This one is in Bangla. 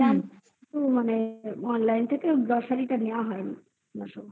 নিলাম তো মানে online থেকে grocery নেওয়া হয়নি।